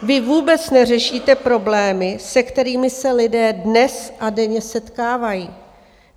Vy vůbec neřešíte problémy, se kterými se lidé dnes a denně setkávají.